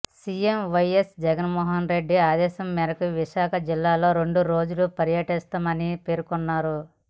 CM YS Jaganmohan Reddy ఆదేశాల మేరకు విశాఖ జిల్లాలో రెండు రోజులు పర్యటిస్తున్నామని పేర్కొన్నారు